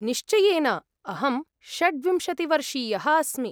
निश्चयेन, अहं षड् विंशतिवर्षीयः अस्मि।